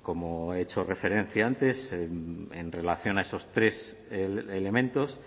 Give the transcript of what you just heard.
como he hecho referencia antes en relación a esos tres elementos